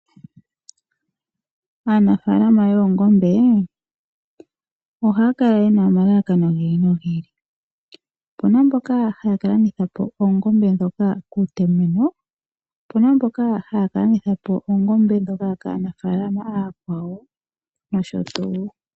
Aanafaalama yoongombe ohaya kala ye na omalalakano gi ili nogi ili. Opu na mboka haya ka landitha po oongombe ndhoka kuutomeno, opu na mboka haya ka landitha po oongombe ndhoka kaanafaalama ooyakwawo nosho tuu.